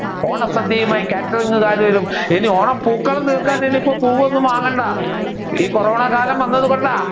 ഓണസദ്യവുമായി കാറ്ററിംഗ്ക്കാർ വരും ഇനി ഓണപ്പൂക്കളം തീർക്കാൻ ഇനി പൂവ് ഒന്നും വാങ്ങണ്ട ഈ കൊറോണ കാലം വന്നത് കൊണ്ടാ